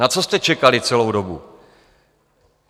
Na co jste čekali celou dobu?